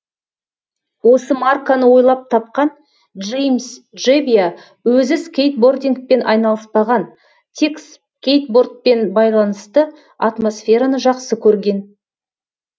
осы марканы ойлап тапқан джеймс джебиа өзі скейтбордингпен айналыспаған тек скейтбордпен байланысты атмосфераны жақсы көрген